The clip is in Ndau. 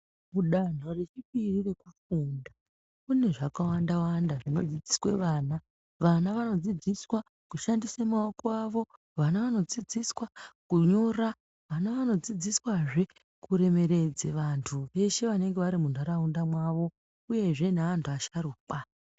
Mudanto rechipiri rekufunda mune zvakawanda wanda zvinodzidziswa. Vana vanodzidziswa kushandisa maoko avo, vana vanodzidziswa kunyora, vana vanodzidziswazve kuremeredze vantu veshe vanenge vati muntaraunda mwavo uyezve neantu asharukwa.